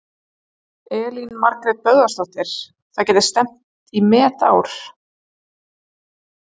Elín Margrét Böðvarsdóttir: Það gæti stefnt í met í ár?